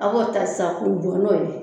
A bɔ ta sisan kun kɔnnɔ ye.